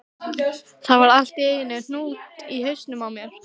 Það var allt í einum hnút í hausnum á mér.